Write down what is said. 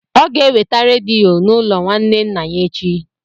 Ọ ga-eweta rediyo n'ụlọ nwanne nna ya echi.